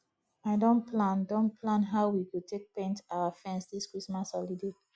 i don plan don plan how we go take paint our fence this christmas holiday